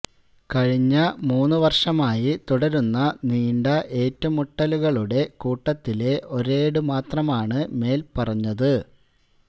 കഴിഞ്ഞ മൂന്ന് വര്ഷമായി തുടരുന്ന നീണ്ട ഏറ്റുമുട്ടലുകളുടെ കൂട്ടത്തിലെ ഒരേട് മാത്രമാണ് മേല് പറഞ്ഞത്